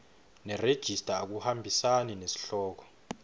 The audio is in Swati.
nerejista akuhambisani nesihloko